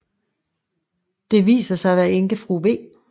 Det viser sig at være enkefru v